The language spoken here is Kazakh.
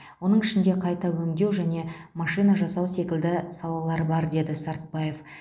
оның ішінде қайта өңдеу және машина жасау секілді салалар бар деді сартбаев